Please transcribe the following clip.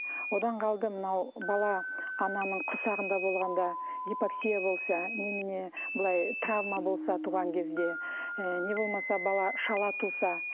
одан қалды мынау бала ананың құрсағында болғанда гипоксия болса немене былай травма болса туған кезде і не болмаса бала шала туса